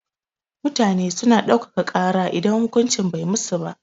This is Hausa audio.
Mutane suna ɗauka ka kara idan hukuncin bai musu ba